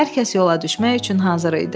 Hər kəs yola düşmək üçün hazır idi.